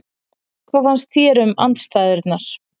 Hvað fannst þér um aðstæðurnar?